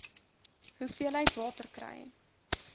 hoeveelheid water kry